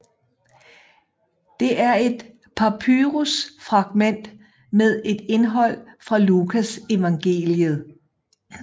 Det er et papyrus fragment med et indhold fra Lukasevangeliet